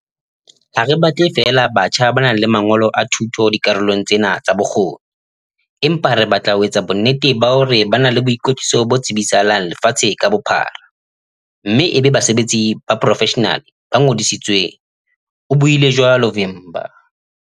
"Ha re batle feela batjha ba nang le mangolo a thuto dikarolong tsena tsa bokgoni, empa re batla ho etsa bonnete ba hore ba na le boikwetliso bo tsebisahalang lefatshe ka bophara mme e be basebetsi ba poro-feshenale ba ngodisitsweng," o buile jwalo Vimba.